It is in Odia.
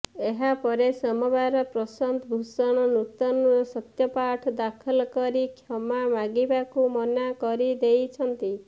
ଏହା ପରେ ସୋମବାର ପ୍ରଶାନ୍ତ ଭୂଷଣ ନୂତନ ସତ୍ୟପାଠ ଦାଖଲ କରି କ୍ଷମା ମାଗିବାକୁ ମନା କରି ଦେଇଛନ୍ତି